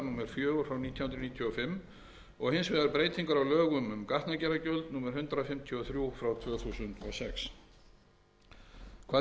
fjögur nítján hundruð níutíu og fimm og hins vegar breytingar á lögum um gatnagerðargjald númer hundrað fimmtíu og þrjú tvö þúsund og sex hvað